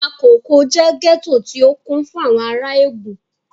Makòko jẹ́ gẹ́tò tí ó kún fún àwọn ará Ègùn